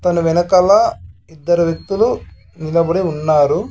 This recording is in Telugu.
తను వెనకాల ఇద్దరు వ్యక్తులు నిలబడి ఉన్నారు.